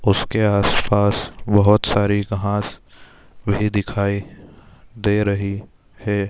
उसके आस -पास बहोत सारी घास भी दिखाई दे रही हैं।